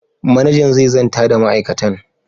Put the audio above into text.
Manajan zai zanta da ma'aikatan.